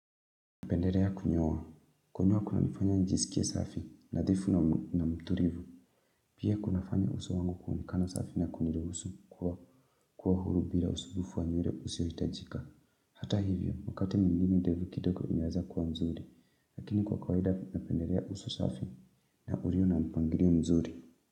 Napendelea kunyoa. Kunyoa kunanifanya njisikie safi nadhifu na mtulivu. Pia kunafanya uso wangu kuonekana safi na kuniruhusu kuwa huru bila usumbufu wa nywele usiohitajika. Hata hivyo, wakati mwingine ndevu kidogo inaweza kuwa nzuri. Lakini kwa kawaida napendelea uso safi na ulio na mpangilio mzuri.